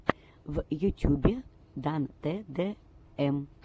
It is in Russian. в ютьюбе дан тэ дэ эм